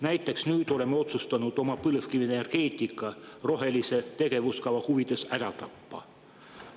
Näiteks oleme nüüd otsustanud oma põlevkivienergeetika rohelise tegevuskava huvides ära tappa.